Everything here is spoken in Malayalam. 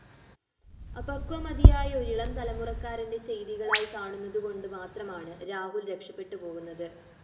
അപക്വമതിയായ ഒരിളംതലമുറക്കാരന്റെ ചേയ്തികളായി കാണുന്നതുകൊണ്ട് മാത്രമാണ് രാഹുല്‍ രക്ഷപ്പെട്ട് പോകുന്നത്